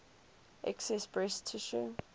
excess breast tissue